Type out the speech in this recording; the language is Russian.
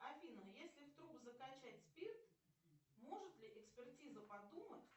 афина если в труп закачать спирт может ли экспертиза подумать